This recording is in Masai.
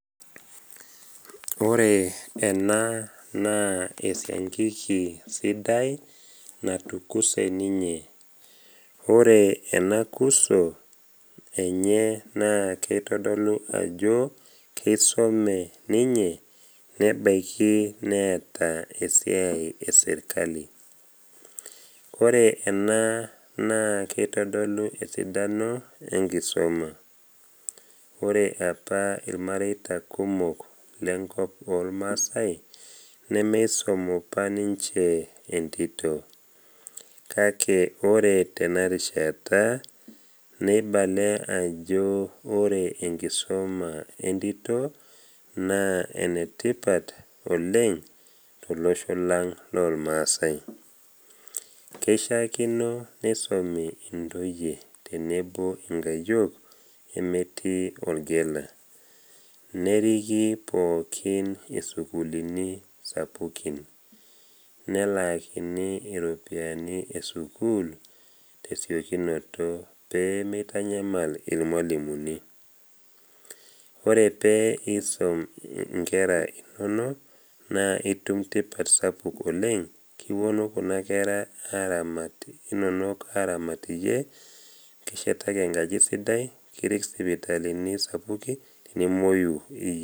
Ore ena naa esiankiki sidai natukuse ninye. Ore ena kuso enye naa keitodolu ajo keisome ninye nebaiki neata esiai eserkali. Kore ena naa keitodolu esidano enkisoma. Ore apa ilmareita kumok lenkop olmaasai nemeisom opa ninche entito. Kake ore tenarishata, neibale ajo ore enkisoma entito naa enetipat oleng tolosho lang lolmaasai. Keishaakino neisomi intoyie tenebo inkayiok emetii olgela, neriki pookin isukulini sapukin, nelaakini iropiani esukul tesiokinoto pee meitanyamal ilmwalimuni. Ore pee isom inkera inono, naa itum tipat sapuk oleng, kiwuonu kuna kera inono aramat iyie, kishetaki enkaji sidai, kirik sipitalini sapuki tenimuoyu, nekinyang’aki inkilani sidain